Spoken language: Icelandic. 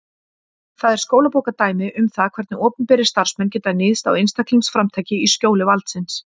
Það er skólabókardæmi um það hvernig opinberir starfsmenn geta níðst á einstaklingsframtaki í skjóli valdsins.